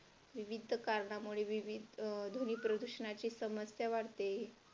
विविध कारणामुळे विविध ध्वनी प्रदूषणाची समस्या वाढते.